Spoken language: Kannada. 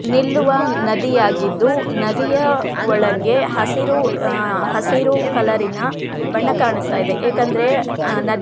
ನಿಲ್ಲುವ ನದಿಯಾಗಿದ್ದು ನದಿಯ ಒಳಗೆ ಹಸಿರು ಹಸಿರು ಕಲರಿನ ಬಣ್ಣ ಕಾಣಿಸ್ತಾ ಇದೆ ಯಾಕೆಂದರೆ --